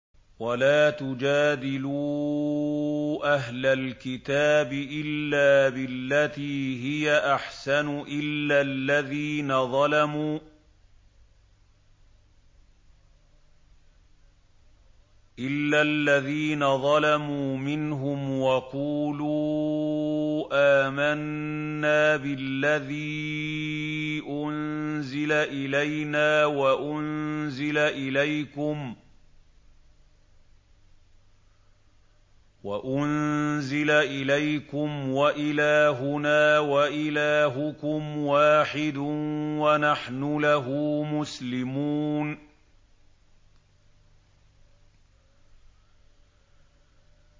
۞ وَلَا تُجَادِلُوا أَهْلَ الْكِتَابِ إِلَّا بِالَّتِي هِيَ أَحْسَنُ إِلَّا الَّذِينَ ظَلَمُوا مِنْهُمْ ۖ وَقُولُوا آمَنَّا بِالَّذِي أُنزِلَ إِلَيْنَا وَأُنزِلَ إِلَيْكُمْ وَإِلَٰهُنَا وَإِلَٰهُكُمْ وَاحِدٌ وَنَحْنُ لَهُ مُسْلِمُونَ